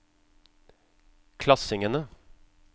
klassingene